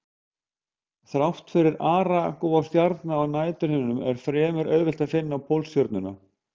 Þrátt fyrir aragrúa stjarna á næturhimninum er fremur auðvelt að finna Pólstjörnuna.